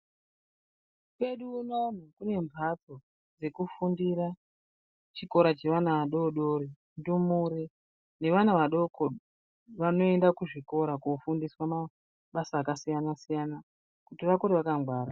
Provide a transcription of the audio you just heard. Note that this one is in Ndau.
Kwedu unono kune mbatso dzekufundira chikora chevana vadoodori ndumure nevana vadoko vanoende kuzvikora koofundiswe mabasa akasiyana siyana kuti akure vakangwara.